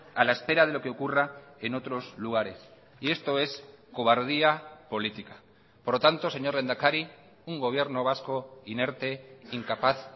a la espera de lo que ocurra en otros lugares y esto es cobardía política por lo tanto señor lehendakari un gobierno vasco inerte incapaz